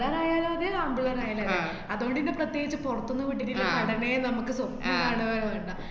പിള്ളേരായാലും അതെ ആണ്‍പിള്ളേരായാലും അതേ. അത്കൊണ്ട് പിന്നെ പ്രത്യേകിച്ച് പുറത്തൊന്നും വിട്ടിട്ട്ള്ള കടമേ നമ്മക്ക് സ്വപ്നം കണ്വേ വേണ്ട